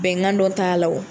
Bɛnkan dɔ t'a la o.